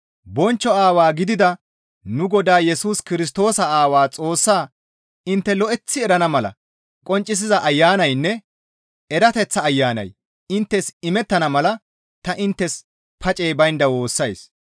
Bonchcho Aawaa gidida nu Godaa Yesus Kirstoosa Aawaa Xoossaa intte lo7eththi erana mala qonccisiza Ayanaynne erateththa Ayanay inttes imettana mala ta inttes pacey baynda woossays.